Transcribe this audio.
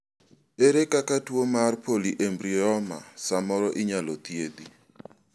ere kaka tuo mar polyembryoma samoro inyalo thiedhi?